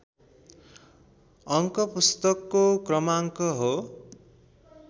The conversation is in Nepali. अङ्क पुस्तकको क्रमाङ्क हो